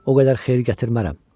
O qədər xeyir gətirmərəm.